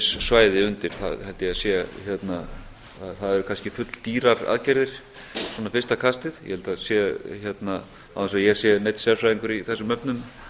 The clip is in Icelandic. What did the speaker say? gegnumstreymissvæði undir það eru kannski fulldýrar aðgerðir svona fyrsta kastið ég held að það sé án þess að ég sé neinn sérfræðingur í þessum efnum